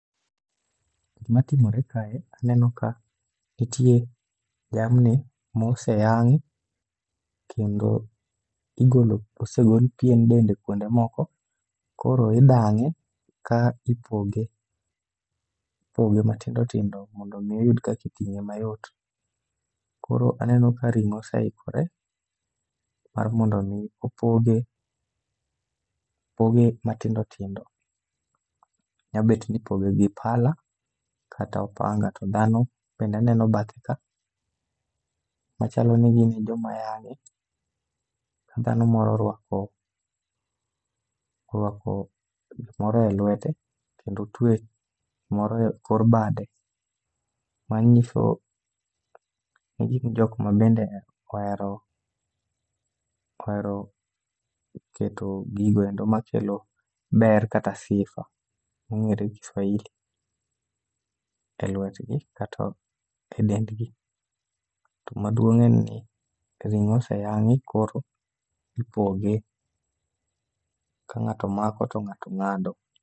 Gima timore kae, aneno ka nitie jamni moseyang' kendo igolo osegol pien dende kuonde moko. Koro idang'e ka ipoge, ipoge matindo tindo mondo mi oyud kakiting'e mayot. Koro aneno ka ring'o oseikore mar mondo mi opoge, opoge matindo tindo. Nyabet ni ipoge gi pala kata opanga, to dhano bende aneno bathe ka, machalo ni gin e joma yang'e. Ka dhano moro orwako, orwako gimoro e lwete kendo otwe moro e kor bade. Ma nyiso ni gin jok ma bende ohero, ohero keto gigoeko makelo ber kata sifa mong'ere gi Swahili e lwtgi kasto e dendgi. To maduong' en ni ring'o oseyang'i koro ipoge, ka ng'ato mako to ng'ato ng'ado.